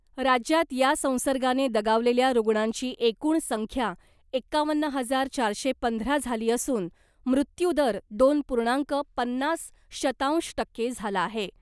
राज्यात या संसर्गाने दगावलेल्या रुग्णांची एकूण संख्या एकावन्न हजार चारशे पंधरा झाली असून , मृत्यूदर दोन पूर्णांक पन्नास शतांश टक्के झाला आहे .